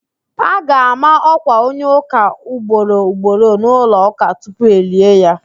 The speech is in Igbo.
A ga-ama ọ̀kwà onye ụ̀ká ugboro ugboro n'ụlọụ̀ká tupu elie ya